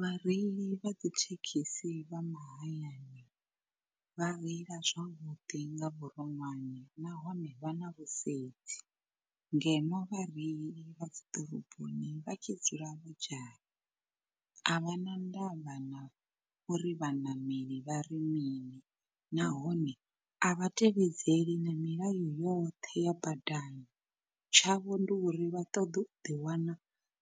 Vhareili vha dzi thekhisi vha mahayani vha reila zwavhuḓi nga vhuronwane nahone vha na vhusedzi. Ngeno vhareili vha dzi ḓoroboni vha tshi dzula vho dzhaya, a vha na ndavha na uri vhaṋameli vha ri mini nahone a vha tevhedzeli na milayo yoṱhe ya badani. Tshavho ndi uri vha ṱoḓe u ḓiwana